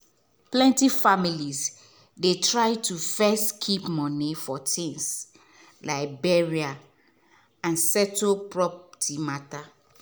plenty families dey try to first keep money for things like burial and to settle property matter.